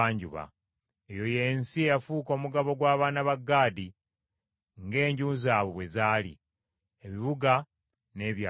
Eyo y’ensi eyafuuka omugabo gw’abaana ba Gaadi ng’enju zaabwe bwe zaali, ebibuga n’ebyalo byamu.